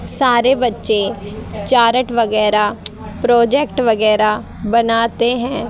सारे बच्चे चार्ट वगैरा प्रोजेक्ट वगैरा बनाते हैं।